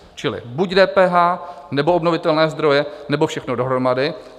Čili buď DPH, nebo obnovitelné zdroje, nebo všechno dohromady.